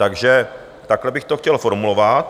Takže takhle bych to chtěl formulovat.